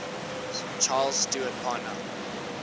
charles stewart parnell